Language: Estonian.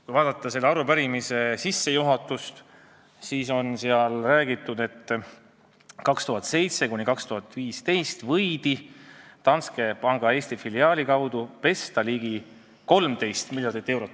Kui vaadata arupärimise sissejuhatust, siis näeme kirjas olevat, et aastail 2007–2015 võidi Danske panga Eesti filiaali kaudu pesta ligi 13 miljardit eurot.